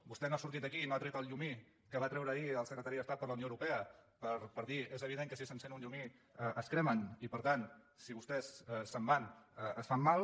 vostè no ha sortit aquí i no ha tret el llumí que va treure ahir el secretari d’estat per la unió europea per dir és evident que si s’encén un llumí es cremen i per tant si vostès se’n van es fan mal